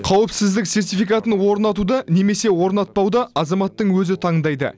қауіпсіздік сертификатын орнатуды немесе орнатпауды азаматтың өзі таңдайды